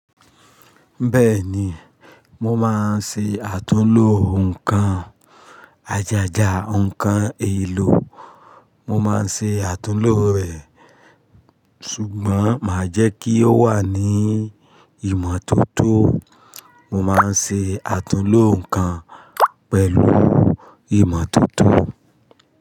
Bẹ́ẹ̀ni, mo máa ń ṣe àtúnlo nǹkan ajajà, ǹkan èèlò. Mo máa ń ṣe àtúnlo rẹ̀, ṣùgbọ́n màá jẹ́ kí ó wà ní ìmọ́tótó. Mo máa ń ṣe àtúnlo nǹkan pẹ̀lú ìmọ́tótó.